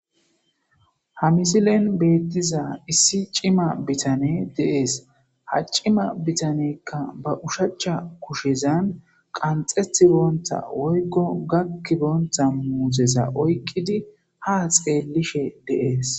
Ha misilen beettiza issi cima bitane deees ha cima bitanekka ba ushacha kushezan qanxethi boonta woykko gakki boonta muuzeza oykqidi ha xeellishe deees.